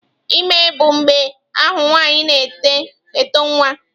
Ime bụ mgbe ahụ nwanyị na-eto nwa.